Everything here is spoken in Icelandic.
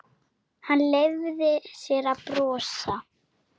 Hann leyfði sér að brosa.